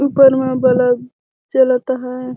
ऊपर म बलब जलत हैं।